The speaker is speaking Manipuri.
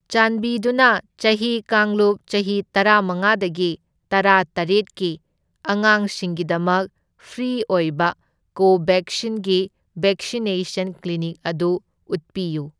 ꯆꯥꯟꯕꯤꯗꯨꯅ ꯆꯍꯤ ꯀꯥꯡꯂꯨꯞ ꯆꯍꯤ ꯇꯔꯥꯃꯉꯥꯗꯒꯤ ꯇꯔꯥꯇꯔꯦꯠꯀꯤ ꯑꯉꯥꯡꯁꯤꯡꯒꯤꯗꯃꯛ ꯐ꯭ꯔꯤ ꯑꯣꯏꯕ ꯀꯣꯕꯦꯛꯁꯤꯟꯒꯤ ꯕꯦꯛꯁꯤꯅꯦꯁꯟ ꯀ꯭ꯂꯤꯅꯤꯛ ꯑꯗꯨ ꯎꯠꯄꯤꯌꯨ꯫